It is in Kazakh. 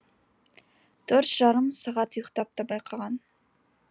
төрт жарым сағат ұйықтап та байқаған